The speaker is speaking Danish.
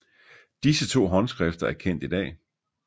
Disse to håndskrifter er kendt i dag